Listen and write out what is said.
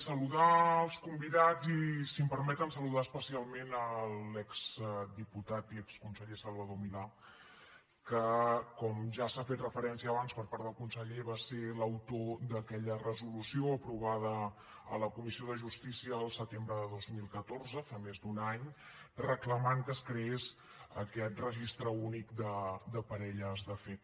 saludar els convidats i si em permeten saludar especialment l’exdiputat i exconseller salvador milà que com ja s’hi ha fet referència abans per part del conseller va ser l’autor d’aquella resolució aprovada a la comissió de justícia el setembre de dos mil catorze fa més d’un any reclamant que es creés aquest registre únic de parelles de fet